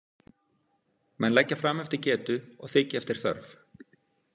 Menn leggja fram eftir getu og þiggja eftir þörf.